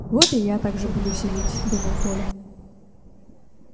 вот и я так же буду сидеть думал коля